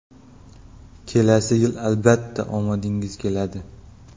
Kelasi yil albatta omadingiz keladi!